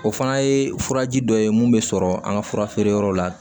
O fana ye furaji dɔ ye mun bɛ sɔrɔ an ka fura feere yɔrɔw la